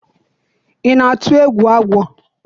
I na-atụ agwọ egwu?